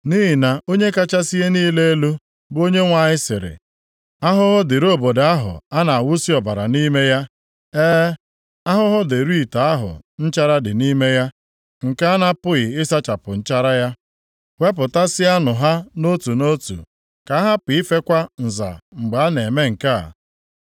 “ ‘Nʼihi na Onye kachasị ihe niile elu, bụ Onyenwe anyị sịrị, “ ‘Ahụhụ dịrị obodo ahụ a na-awụsi ọbara nʼime ya. E, ahụhụ dịrị ite ahụ nchara dị nʼime ya, nke a na-apụghị ịsachapụ nchara ya. Wepụtasịanụ ha nʼotu nʼotu. Ka a hapụ ifekwa nza mgbe a na-eme nke a.